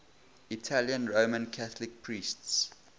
italian roman catholic priests